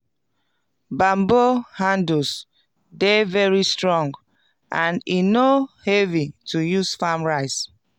banbo handles dey very strong and e no heavy to use farm rice